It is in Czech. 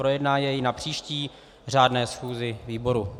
Projedná jej na příští řádné schůzi výboru.